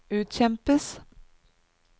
utkjempes